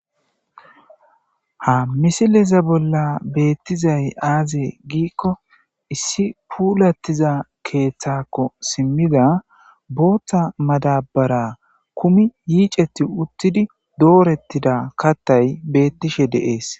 Haa misileza bolla betizayi azee gikko issi pulatezzi keththakko simmida boththa madabara kummi yiceti uttidi dorettida katayi beteshshe de'ees.